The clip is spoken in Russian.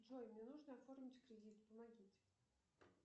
джой мне нужно оформить кредит помогите